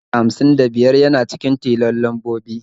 Ɗari uku da hamsin da biyar yana cikin tilon lambobi.